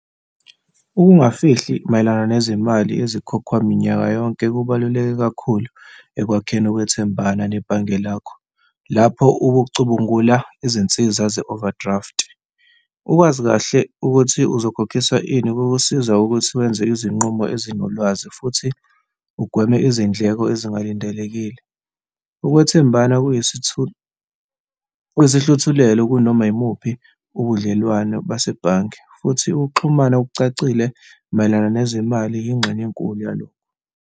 Ukungafihli mayelana nezimali ezikhokhwayo minyaka yonke kubaluleke kakhulu ekwakheni ukwethembana nebhange lakho, lapho ukucubungula izinsiza ze-overdraft. Ukwazi kahle ukuthi uzokhokhiswa ini, kukusiza ukuthi wenze izinqumo ezinolwazi futhi ugweme izindleko ezingalindelekile. Ukwethembana kuyisihluthulelo kunoma yimuphi ubudlelwano basebhange futhi ukuxhumana okucacile mayelana nezimali yingxenye enkulu yalokho.